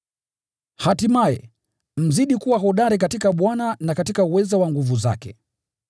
Hatimaye, mzidi kuwa hodari katika Bwana na katika uweza wa nguvu zake.